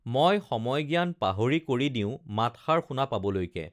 মই সময়জ্ঞান পাহৰি কৰি দিওঁ মাতষাৰ শুনা পাবলৈকে